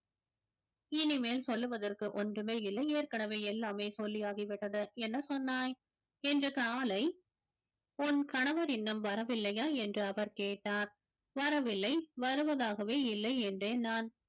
இனிமேல் சொல்லுவதற்கு ஒன்றுமே இல்லை ஏற்கனவே எல்லாமே சொல்லியாகிவிட்டது என்ன சொன்னாய் இன்று காலை உன் கணவர் இன்னும் வரவில்லையா என்று அவர் கேட்டார் வரவில்லை வருவதாகவே இல்லை என்றேன் நான்